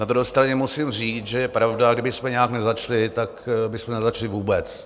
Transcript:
Na druhé straně musím říct, že je pravda, kdybychom nějak nezačali, tak bychom nezačali vůbec.